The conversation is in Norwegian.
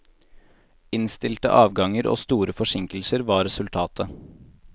Innstilte avganger og store forsinkelser var resultatet.